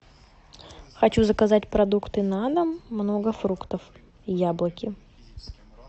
хочу заказать продукты на дом много фруктов и яблоки